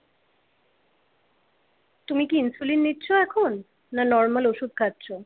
তুমি কি insulin নিচ্ছ এখন না নরমাল ওষুধ খাচ্ছো?